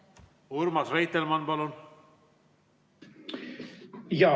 Urmas Reitelmann, palun!